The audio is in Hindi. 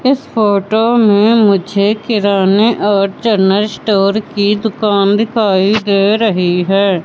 इस फोटो में मुझे किराने और जनरल स्टोअर की दुकान दिखाई दे रही हैं।